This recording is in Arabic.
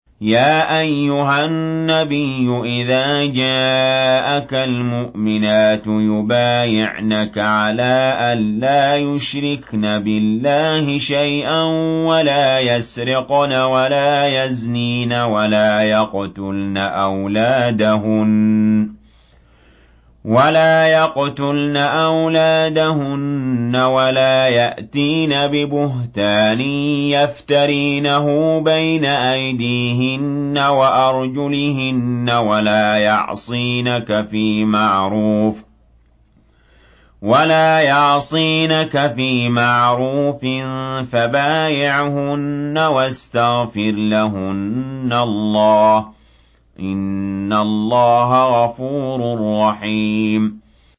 يَا أَيُّهَا النَّبِيُّ إِذَا جَاءَكَ الْمُؤْمِنَاتُ يُبَايِعْنَكَ عَلَىٰ أَن لَّا يُشْرِكْنَ بِاللَّهِ شَيْئًا وَلَا يَسْرِقْنَ وَلَا يَزْنِينَ وَلَا يَقْتُلْنَ أَوْلَادَهُنَّ وَلَا يَأْتِينَ بِبُهْتَانٍ يَفْتَرِينَهُ بَيْنَ أَيْدِيهِنَّ وَأَرْجُلِهِنَّ وَلَا يَعْصِينَكَ فِي مَعْرُوفٍ ۙ فَبَايِعْهُنَّ وَاسْتَغْفِرْ لَهُنَّ اللَّهَ ۖ إِنَّ اللَّهَ غَفُورٌ رَّحِيمٌ